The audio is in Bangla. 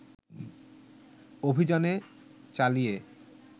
অভিযানে চালিয়ে